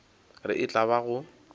re e tla ba go